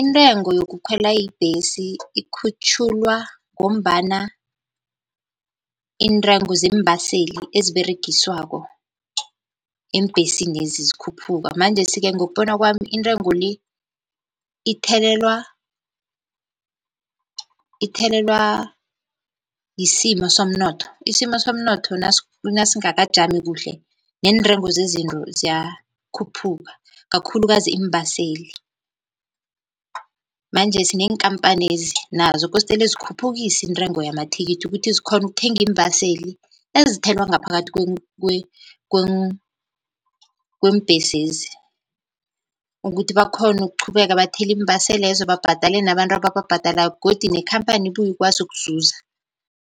intengo yokukhwela ibhesi ikhutjhulwa ngombana iintengo zeembaseli eziberegiswako eembhesinezi zikhuphuka. Manjesi-ke ngokubona kwami intengo le ithelelwa, ithelelwa yisimo somnotho isimo somnotho nasingakajami kuhle neentengo zezinto ziyakhuphuka kakhulukazi iimbaseli. Manjesi neenkampanezi nazo kostele zikhuphukise intengo yamathikithi ukuthi zikhone ukuthenga iimbaseli ezithelwa ngaphakathi kweembhesezi, ukuthi bakhone ukuqhubeka bathele iimbaselezo babhadale nabantu abakubhadalako godu neenkhamphani ibuye ikwazi ukuzuza.